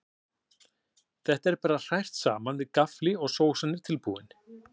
Þetta er bara hrært saman með gaffli og sósan er tilbúin.